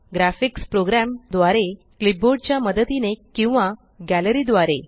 graphics program द्वारे clipboard च्या मदतीने किंवा गॅलरी द्वारे